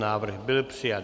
Návrh byl přijat.